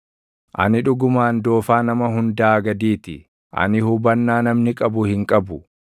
Ani dhugumaan doofaa nama hundaa gadii ti; ani hubannaa namni qabu hin qabu.